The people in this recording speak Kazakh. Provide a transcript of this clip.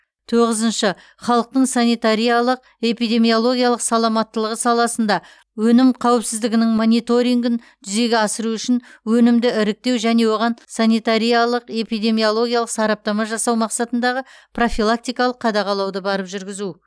тоғызыншы халықтың санитариялық эпидемиологиялық саламаттылығы саласында өнім қауіпсіздігінің мониторингін жүзеге асыру үшін өнімді іріктеу және оған санитариялық эпидемиологиялық сараптама жасау мақсатындағы профилактикалық қадағалауды барып жүргізу